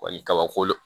kabako